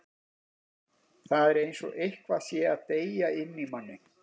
Það er eins og eitthvað sé að deyja inni í manni.